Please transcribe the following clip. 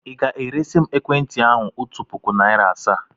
Ị ga-eresi m ekwentị ahụ otu puku naịra asaa?